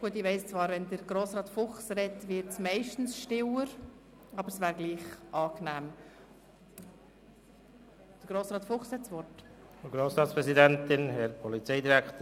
Gut, ich weiss zwar, dass es meistens stiller wird, wenn Grossrat Fuchs spricht, aber etwas mehr Ruhe im Saal wäre trotzdem angenehm.